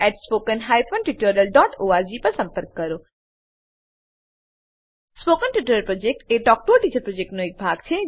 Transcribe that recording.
spoken tutorial project talk to a teacher પ્રોજેક્ટનો એક ભાગ છે